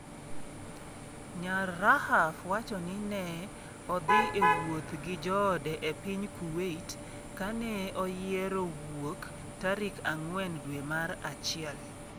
Nyar Rahaf wacho ni ne odhi e wuoth ​​gi joode e piny Kuwait kane oyiero wuok tarik ang'wen dwe mar achiel.